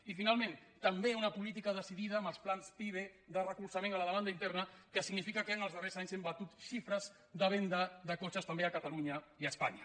i finalment també una política decidida amb els plans pive de recolzament a la demanda interna que significa que en els darrers anys hem batut xifres de venda de cotxes també a catalunya i a espanya